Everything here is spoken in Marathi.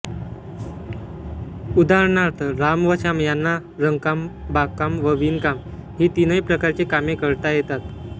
उदाहरणार्थ राम व श्याम यांना रंगकाम बागकाम व विणकाम ही तीनही प्रकारची कामे करता येतात